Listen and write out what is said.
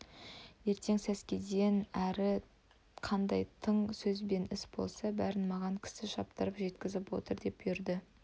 ертең сәскеден әрі қандай тың сөз бен іс болса бәрін маған кісі шаптырып жеткізіп отыр деп бұйырды